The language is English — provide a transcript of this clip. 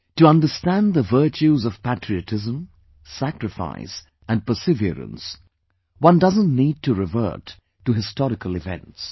To understand the virtues of patriotism, sacrifice and perseverance, one doesn't need to revert to historical events